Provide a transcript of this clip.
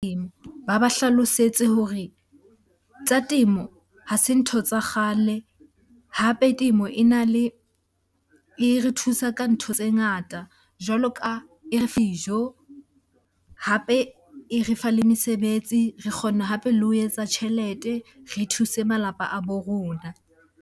Ba ba hlalosetse hore tsa temo ha se ntho tsa kgale. Hape temo e na le, e re thusa ka ntho tse ngata jwalo ka dijo. Hape e re fa le mesebetsi, re kgona hape le ho etsa tjhelete re thuse malapa a bo rona.